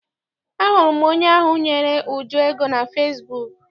Ahụrụ m onye ahụ nyere Uju ego na fesibuuku.